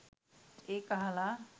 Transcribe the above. ඒක අහල